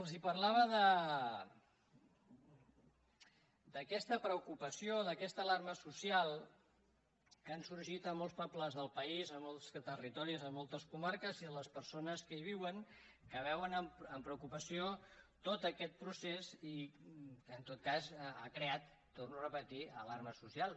els parlava d’aquesta preocupació i d’aquesta alarma social que han sorgit a molts pobles del país a molts territoris a moltes comarques i a les persones que hi viuen que veuen amb preocupació tot aquest procés i que en tot cas ha creat ho torno a repetir alarma social